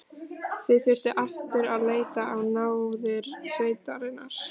Þau þurftu aftur að leita á náðir sveitarinnar.